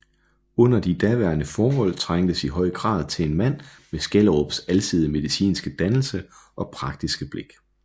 Under de daværende forhold trængtes i høj grad til en mand med Skjelderups alsidige medinske dannelse og praktiske blik